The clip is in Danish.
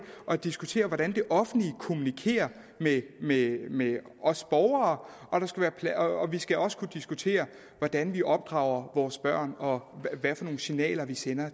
at diskutere hvordan det offentlige kommunikerer med med os borgere og vi skal også kunne diskutere hvordan vi opdrager vores børn og hvilke signaler vi sender